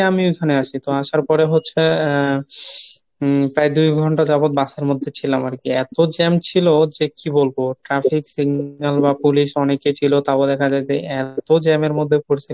আমি ঐখানে আসি, তো আসার পরে হচ্ছে আহ প্রায় দুই ঘন্টা যাবৎ বাসের মধ্যে ছিলাম আরকি, এতো jam ছিল যে কী বলবো traffic signal বা police অনেকেই ছিল তাও দেখা যায় যে এতো jam এর মধ্যে পরছিলাম